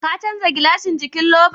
Ka canza gilashin jikin louver?